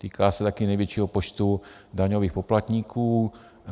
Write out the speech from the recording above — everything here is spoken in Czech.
Týká se taky největšího počtu daňových poplatníků.